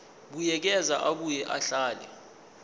buyekeza abuye ahlele